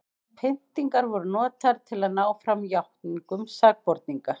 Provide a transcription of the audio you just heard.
pyntingar voru notaðar til að ná fram játningum sakborninga